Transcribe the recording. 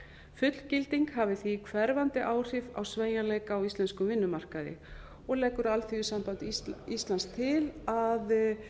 fullgilding hafi því hverfandi áhrif á sveigjanleika á íslenskum vinnumarkaði og leggur alþýðusamband íslands til að